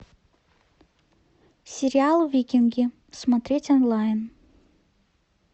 сериал викинги смотреть онлайн